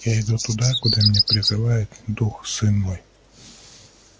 я иду туда куда меня призывает дух сын мой